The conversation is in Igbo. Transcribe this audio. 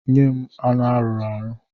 Nye m anụ a rụrụ arụ!